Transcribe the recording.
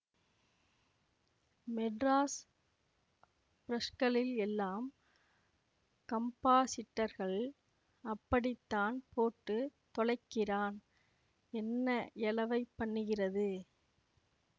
மெட்ராஸ் பிரஸ்களில் எல்லாம் கம்பாஸிட்டர்கள் அப்படித்தான் போட்டு தொலைக்கிறான் என்ன எழவைப் பண்ணுகிறது